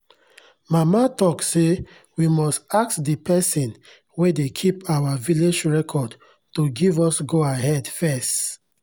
mama talk say we must ask de pesin wen de keep our village record to give us go ahead fess